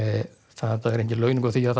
þetta er engin launung á því að